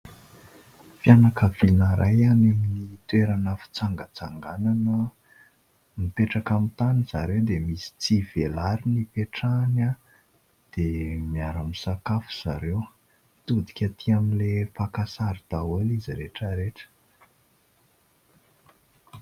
Fianakaviana iray any amin'ny toerana fitsangatsanganana. Mipetraka amin'ny tany zareo dia misy tsihy velariny ipetrahany dia miaramisakafo zareo. Mitodika atỳ amin'ilay mpaka sary daholo izy rehetra rehetra.